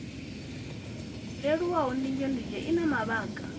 leluwaho ndunzhendunzhe i na mavhaka